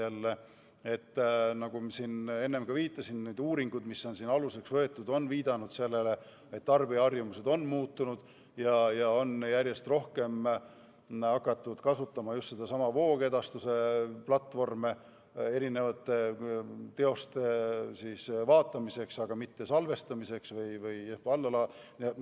Jällegi, nagu ma siin enne juba viitasin, on need uuringud, mis on aluseks võetud, viidanud sellele, et tarbijaharjumused on muutunud ja järjest rohkem on hakatud kasutama just neidsamu voogedastusplatvorme erinevate teoste vaatamiseks, aga mitte salvestamiseks või allalaadimiseks.